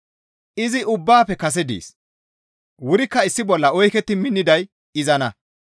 Izi ubbaafe kase dees; wurikka issi bolla oyketti minniday izanna.